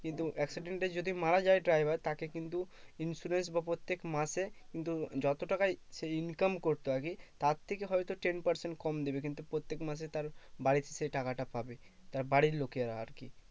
কিন্তু accident এ যদি মারা যায় driver তাকে কিন্তু insurance বা প্রত্যেক মাসে কিন্তু যত টাকাই সে income করতো আগে তার থেকে হয়তো ten percent কম দেবে কিন্তু প্রত্যেক মাসে তার বাড়ি সেই টাকাটা পাবে, তার বাড়ির লোকেরা আর কি